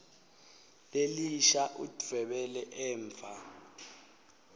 lelisha udvwebele emva